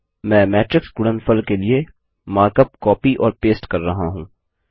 मैं मैट्रिक्स गुणनफल के लिए मार्कअप कॉपी और पेस्ट कर रहा हूँ